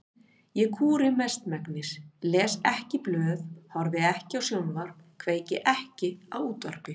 Ég kúri mestmegnis, les ekki blöð, horfi ekki á sjónvarp, kveiki ekki á útvarpi.